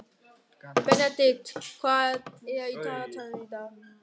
Benedikt, hvað er í dagatalinu í dag?